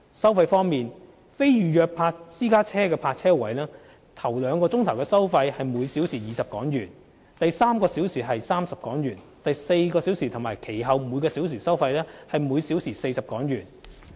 收費方面，非預約私家車泊車位首兩小時收費為每小時20港元。第三小時為30港元、第四小時及其後每小時收費則為每小時40港元。